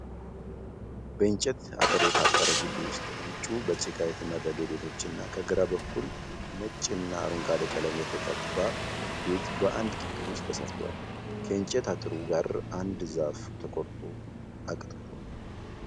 በእንጨት አጥር የታጠረ ግቢ ዉስጥ ዉጩ በጭቃ የተመረገ ቤቶቹ እና ከግራ በጉል ነጭ እና አረንጓዴ ቀለም የተገባ ቤት በአንድ ግቢ ዉስጥ ተሰርተዋል። ከእንጨት አጥሩ ጋር አንድ ዛፍ ተቆርጦ አቅጥቅጧል።